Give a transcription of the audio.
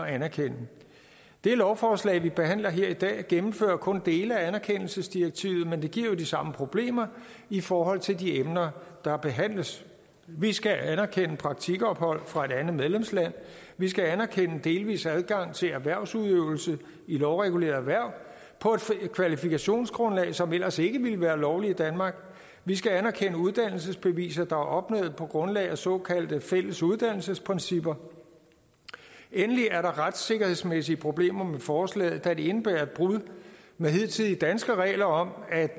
at anerkende det lovforslag vi behandler her i dag gennemfører kun dele af anerkendelsesdirektivet men det giver jo de samme problemer i forhold til de emner der behandles vi skal anerkende praktikophold fra et andet medlemsland vi skal anerkende delvis adgang til erhvervsudøvelse i lovregulerede erhverv på et kvalifikationsgrundlag som ellers ikke ville være lovligt i danmark vi skal anerkende uddannelsesbeviser der er opnået på grundlag af såkaldt fælles uddannelsesprincipper og endelig er der retssikkerhedsmæssige problemer med forslaget da det indebærer et brud med hidtidige danske regler om at